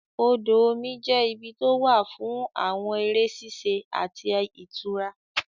Odò omi jẹ́ ibi tó wà fún àwọn eré ṣíṣe àti ìtura